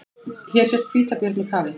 Hér sést hvítabjörn í kafi.